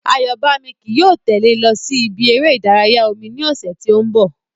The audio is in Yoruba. Àyọ́bámi ki yóò tẹ́lè ẹ lọ sí ibi eré ìdárayá omi ní ọ̀sẹ̀ tí ó ń bọ̀